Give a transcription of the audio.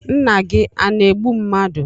Nna gi a na-egbu mmadu?